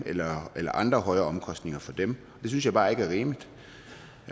eller eller andre højere omkostninger for dem det synes jeg bare ikke er rimeligt